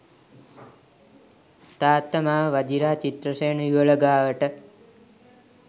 තාත්තා මාව වජිරා චිත්‍රසේන යුවළ ගාවට